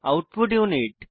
output unit